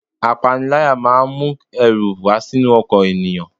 Apanilaya máa ń mu ẹrù wá sínú ọkàn ènìyàn.